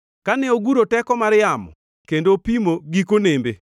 Kane oguro teko mar yamo kendo opimo giko nembe,